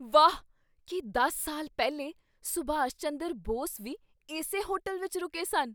ਵਾਹ ! ਕੀ ਦਸ ਸਾਲ ਪਹਿਲੇ ਸੁਭਾਸ਼ ਚੰਦਰ ਬੋਸ ਵੀ ਇਸੇ ਹੋਟਲ ਵਿਚ ਰੁਕੇ ਸਨ?